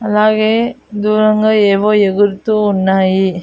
అలాగే దూరంగా ఏవో ఎగురుతూ ఉన్నాయి.